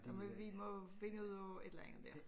Der må vi må finde ud af et eller andet dér